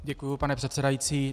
Děkuji, pane předsedající.